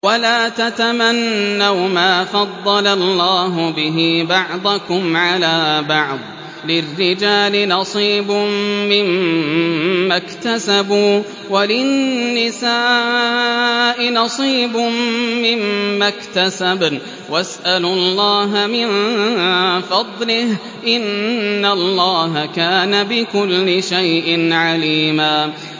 وَلَا تَتَمَنَّوْا مَا فَضَّلَ اللَّهُ بِهِ بَعْضَكُمْ عَلَىٰ بَعْضٍ ۚ لِّلرِّجَالِ نَصِيبٌ مِّمَّا اكْتَسَبُوا ۖ وَلِلنِّسَاءِ نَصِيبٌ مِّمَّا اكْتَسَبْنَ ۚ وَاسْأَلُوا اللَّهَ مِن فَضْلِهِ ۗ إِنَّ اللَّهَ كَانَ بِكُلِّ شَيْءٍ عَلِيمًا